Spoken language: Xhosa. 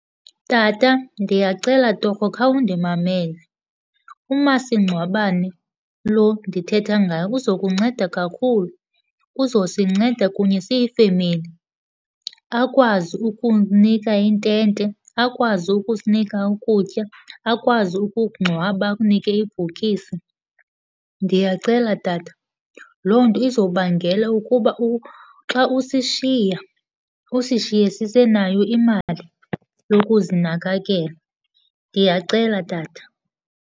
Tata, ndiyacela torho khawundimamele. Umasingcwabane lo ndithetha ngawo uzokunceda kakhulu. Uzosinceda kunye siyifemeli akwazi ukukunika intente, akwazi ukusinika ukutya, akwazi ukukungcwaba akunike ibhokisi. Ndiyacela tata, loo nto izobangela ukuba xa usishiya, usishiye sisenayo imali yokuzinakekela. Ndiyacela tata.